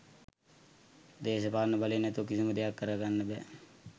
දේශපාලන බලය නැතුව කිසිම දෙයක් කරගන්න බෑ